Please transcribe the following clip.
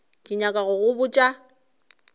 ke nyaka go go botša